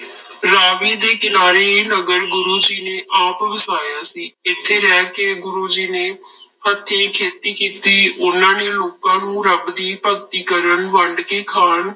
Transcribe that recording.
ਰਾਵੀ ਦੇ ਕਿਨਾਰੇ ਇਹ ਨਗਰ ਗੁਰੂ ਜੀ ਨੇ ਆਪ ਵਸਾਇਆ ਸੀ, ਇੱਥੇ ਰਹਿ ਕੇ ਗੁਰੂ ਜੀ ਨੇ ਹੱਥੀ ਖੇਤੀ ਕੀਤੀ, ਉਹਨਾਂ ਨੇ ਲੋਕਾਂ ਨੂੰ ਰੱਬ ਦੀ ਭਗਤੀ ਕਰਨ, ਵੰਡ ਕੇ ਖਾਣ